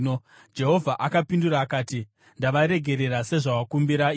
Jehovha akapindura akati, “Ndavaregerera sezvawakumbira iwe.